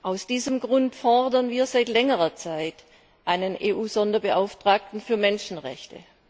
Aus diesem Grund fordern wir seit längerer Zeit einen EU Sonderbeauftragten für Menschenrechte.